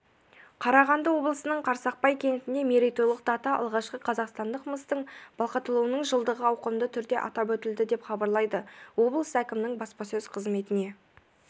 қарағанды облысының қарсақпай кентінде мерейтойлық дата алғашқы қазақстандық мыстың балқытылуының жылдығы ауқымды түрде атап өтілді деп хабарлайды облыс әкімінің баспаөз қызметіне